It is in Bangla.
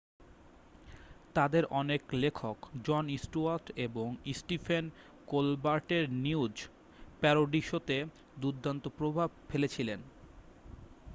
তাদের অনেক লেখক জন স্টুয়ার্ট এবং স্টিফেন কোলবার্টের নিউজ প্যারোডি শোতে দুর্দান্ত প্রভাব ফেলেছিলেন